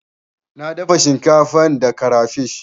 Na dafa shinkafa da karafish.